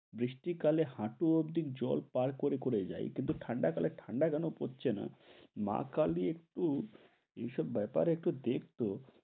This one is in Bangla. বৃষ্টি কালে হাটু অব্দি জল পার করে করে যাই। কিন্তু ঠান্ডা কালে ঠান্ডা যেন পরছেনা মা কালি একটু এইসব ব্যাপারে একটু দেখতো